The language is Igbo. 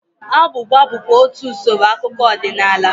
Agwụgwa bụkwa otú usoro akụkọ ọdịnala